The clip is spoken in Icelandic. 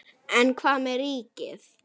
En hvað með ríkið?